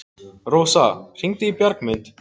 Rósa, hringdu í Bjargmund.